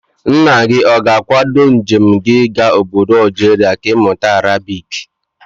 Nna gị ọ ga-akwado njem gị ịga ọbọdọ Algeria ka ị mụta Arabic?